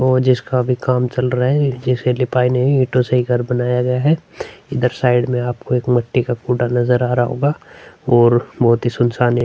और जिसका भी काम चल रहा है जिसे लिपाई नहीं ईंटो से ही घर बनाया गया है| इधर साइड में आपको एक मिट्टी का कूड़ा नजर आ रहा होगा और बहुत ही सुनशान हे।